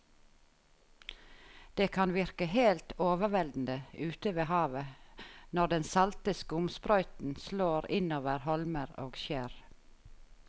Det kan virke helt overveldende ute ved havet når den salte skumsprøyten slår innover holmer og skjær.